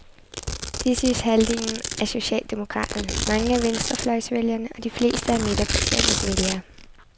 Det synes halvdelen af socialdemokraterne, mange af venstrefløjsvælgerne og de fleste af midterpartiernes vælgere.